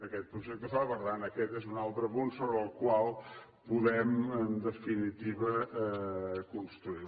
aquesta projecte ho fa per tant aquest és un altre punt sobre el qual podem en definitiva construir